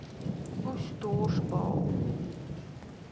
oes dors baal